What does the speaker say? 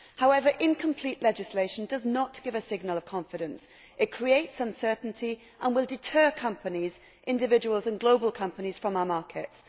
However, incomplete legislation does not give a signal of confidence. It creates uncertainty and will deter companies, individuals and global companies from our markets.